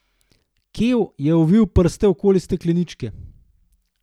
Kev je ovil prste okoli stekleničke.